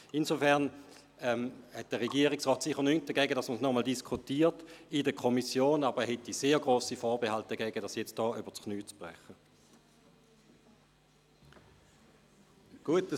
Insofern hätte der Regierungsrat sicher nichts dagegen, sollte nochmals in der Kommission darüber diskutiert werden, aber er hätte sehr grosse Vorbehalte dagegen, wenn dies hier und jetzt übers Knie gebrochen würde.